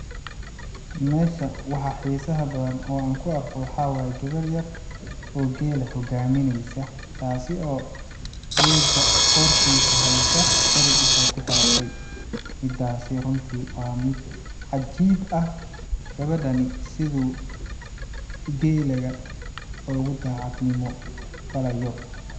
Meshan waxa xisaha badan oo aan kuarko waxaa waye gawar yar oo geela hogaamineysa, taasi oo geelaga qortiisa heysa xirig intay ku xiratey, midaasi runti waa mid cajiib ah gawadhani siduu geelaga oogu dhacad nimo falayo.